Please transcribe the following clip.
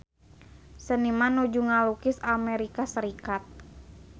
Seniman nuju ngalukis Amerika Serikat